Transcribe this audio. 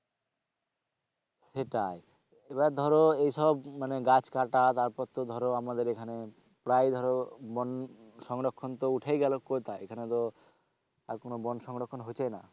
সেটাই এবার ধরো এই সব মানে গাছ কাটা তারপর তো ধরো আমাদের এখানে প্রায় ধরো বন সংরক্ষণ তো উঠেই গেল কোথায় এখানে তো আর কোন বন সংরক্ষণ হচ্ছেই না।